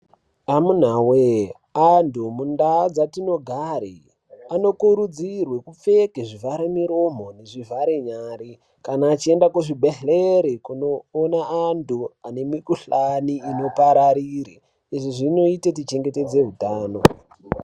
Amuntawe, antu muntau dzatinogare anokurudzirwe kupfeke zvivharo muromo nezvivhare nyari kana vachienda kuzvibhedhlere kundoona antu ane mikhuhlani inopararire. Izvi zvinoite tichengetedze utano.